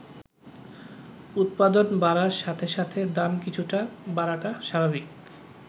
উৎপাদন বাড়ার সাথে সাথে দাম কিছুটা বাড়াটা স্বাভাবিক।